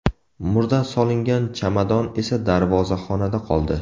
Murda solingan chamadon esa darvozaxonada qoldi.